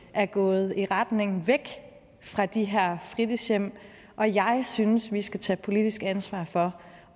er gået i retning væk fra de her fritidshjem og jeg synes vi skal tage politisk ansvar for